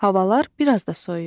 Havalar biraz da soyuyur.